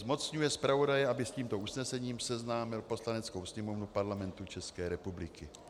Zmocňuje zpravodaje, aby s tímto usnesením seznámil Poslaneckou sněmovnu Parlamentu České republiky.